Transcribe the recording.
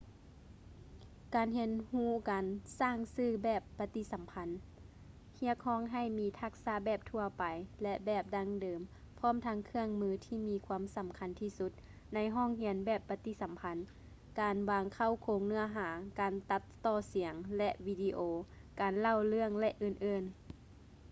ການຮຽນຮູ້ການສ້າງສື່ແບບປະຕິສຳພັນ ຮຽກຮ້ອງໃຫ້ມີທັກສະແບບທົ່ວໄປ ແລະ ແບບດັ້ງເດີມ ພ້ອມທັງເຄື່ອງມືທີ່ມີຄວາມສຳຄັນທີ່ສຸດໃນຫ້ອງຮຽນແບບປະຕິສຳພັນ ການວາງເຄົ້າໂຄງເນື້ອຫາ ການຕັດຕໍ່ສຽງ ແລະ ວິດີໂອ ການເລົ່າເລື່ອງ ແລະ ອື່ນໆ.